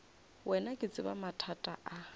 wena ke tseba mathata a